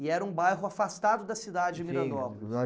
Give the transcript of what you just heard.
E era um bairro afastado da cidade de Miranópolis.